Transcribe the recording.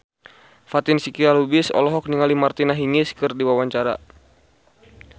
Fatin Shidqia Lubis olohok ningali Martina Hingis keur diwawancara